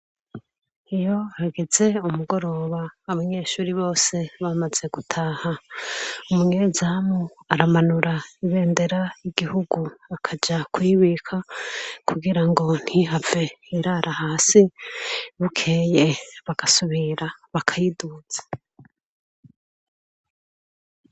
Iyo hageze umugoroga abanyeshure bose bamaze gutaha umunyezamu aramanura ibendera ryigihugu akaja kuyibika kugirango ntihave irara hasi bukeye bagasubira bagasubira bakayiduza